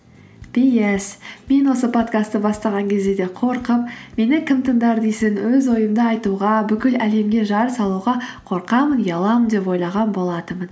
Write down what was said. пи эс мен осы подкастты бастаған кезде де қорқып мені кім тыңдар дейсің өз ойымды айтуға бүкіл әлемге жар салуға қорқамын ұяламын деп ойлаған болатынмын